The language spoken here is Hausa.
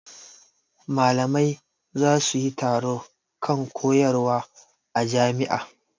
Malamai za su yi taro kan koyarwa a jami'a.